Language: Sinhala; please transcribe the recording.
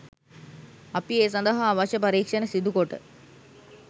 අපි ඒ සඳහා අවශ්‍ය පරීක්ෂණ සිදුකොට